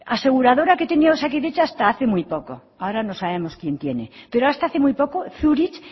aseguradora que tenía osakidetza hasta hace muy poco ahora no sabemos quién tiene pero hasta hace muy poco zurich